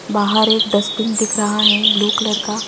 बाहर एक डस्टबिन दिख रहा है ब्लू कलर